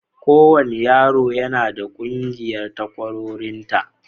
Kowane yaro yana da ƙungiyar takwarorinta.